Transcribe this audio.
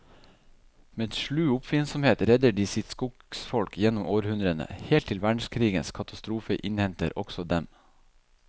Med slu oppfinnsomhet redder de sitt skogsfolk gjennom århundrene, helt til verdenskrigens katastrofe innhenter også dem.